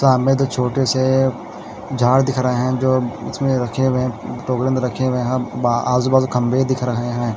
तो हमे तो छोटे झाड दिख रहे है जो उसमे बचे हुए हैं रखे हुए हैं आजूबाजू खंबे दिख रहे हैं।